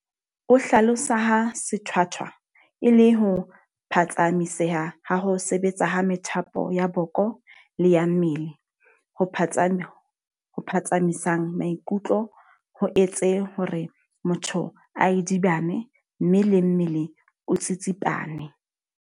O hlalosa ha sethwathwa e le ho phatsamiseha ha ho sebetsa ha methapo ya boko le ya mmele ho phatsamisang maikutlo, ho etse hore motho a idibane mme le mmele o tsitsipane.